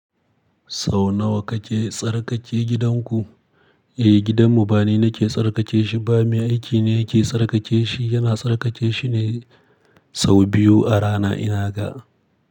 Sau nawa kake tsarkake gidanku? Eh, gidanmu ba ni nake tsarkake shi ba, mai aiki ne yake tsarkake shi. Yana tsarkake shi ne sau biyu a rana ina ga.